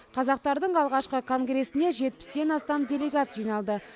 қазақтардың алғашқы конгресіне жетпістен астам делегат жиналды